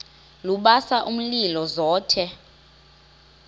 lubasa umlilo zothe